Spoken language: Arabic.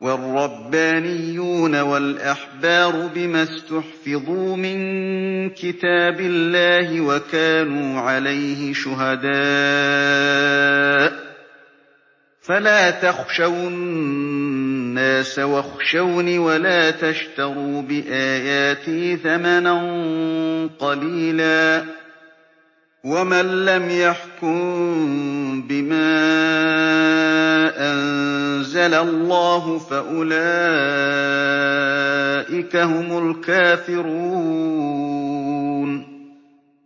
وَالرَّبَّانِيُّونَ وَالْأَحْبَارُ بِمَا اسْتُحْفِظُوا مِن كِتَابِ اللَّهِ وَكَانُوا عَلَيْهِ شُهَدَاءَ ۚ فَلَا تَخْشَوُا النَّاسَ وَاخْشَوْنِ وَلَا تَشْتَرُوا بِآيَاتِي ثَمَنًا قَلِيلًا ۚ وَمَن لَّمْ يَحْكُم بِمَا أَنزَلَ اللَّهُ فَأُولَٰئِكَ هُمُ الْكَافِرُونَ